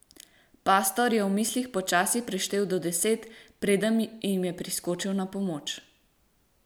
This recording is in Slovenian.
Pastor je v mislih počasi preštel do deset, preden jim je priskočil na pomoč.